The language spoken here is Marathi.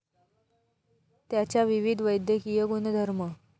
त्याच्या विविध वैद्यकीय गुणधर्म.